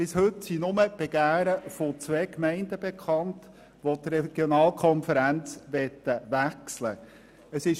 Bis heute sind nur die Begehren von zwei Gemeinden bekannt, welche die Regionalkonferenz wechseln möchten.